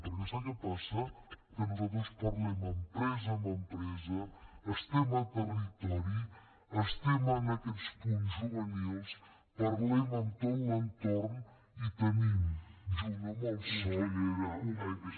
per què sap que passa que nosaltres parlem empresa a empresa estem a territori estem en aquests punts juvenils parlem amb tot l’entorn i tenim junt amb el soc